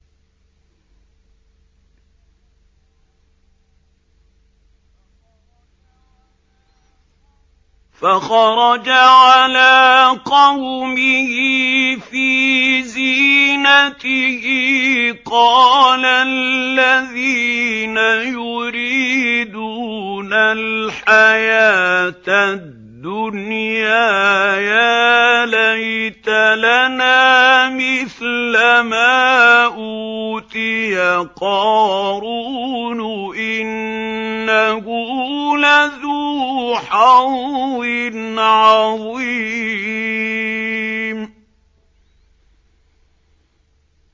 فَخَرَجَ عَلَىٰ قَوْمِهِ فِي زِينَتِهِ ۖ قَالَ الَّذِينَ يُرِيدُونَ الْحَيَاةَ الدُّنْيَا يَا لَيْتَ لَنَا مِثْلَ مَا أُوتِيَ قَارُونُ إِنَّهُ لَذُو حَظٍّ عَظِيمٍ